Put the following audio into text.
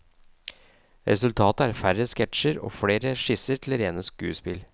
Resultatet er færre sketsjer og flere skisser til rene skuespill.